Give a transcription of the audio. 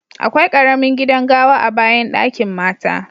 Akwai karemin gidan gawa a'bayan dakin mata.